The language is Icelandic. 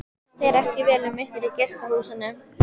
Fer ekki vel um ykkur í gestahúsinu?